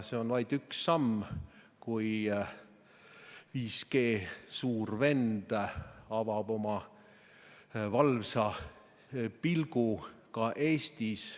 See on vaid üks samm, kui 5G suur vend avab oma valvsa pilgu ka Eestis.